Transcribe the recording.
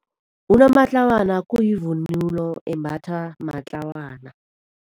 Unomatlawana kuyivunulo embathwa matlawana.